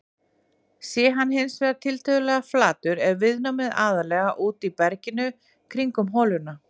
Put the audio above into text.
Sé hann hins vegar tiltölulega flatur er viðnámið aðallega úti í berginu kringum holuna.